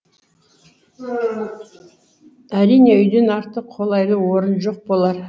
әрине үйден артық қолайлы орын жоқ болар